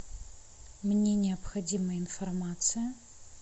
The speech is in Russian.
мне необходима информация